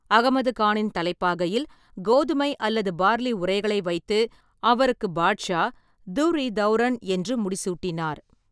அகமது கானின் தலைப்பாகையில் கோதுமை அல்லது பார்லி உறைகளை வைத்து, அவருக்கு பாட்ஷா, துர்ர்-இ-தௌரன் என்று முடிசூட்டினார்.